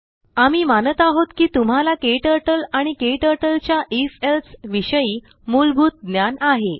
आम्ही मानतआहोत कि तुम्हालाकेटरटल आणिकेटरटलच्याif else विषयीमूलभूतज्ञान आहे